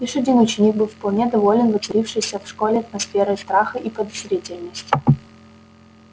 лишь один ученик был вполне доволен воцарившейся в школе атмосферой страха и подозрительности